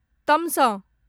तमसँ